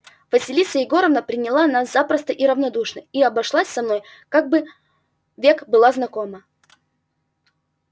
василиса егоровна приняла нас запросто и радушно и обошлась со мною как бы век была знакома